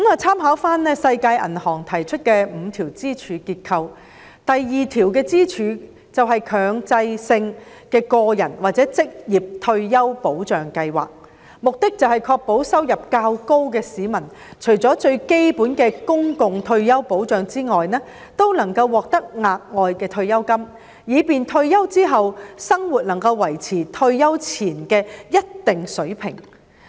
參考世界銀行提出的5條支柱結構，第二條支柱是"強制性個人或職業退休保障計劃"，旨在確保收入較高的市民除了最基本的公共退休保障外，也能獲得額外的退休金，以便退休後的生活能夠維持退休前的一定水平。